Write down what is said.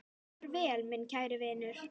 Far vel, minn kæri vinur.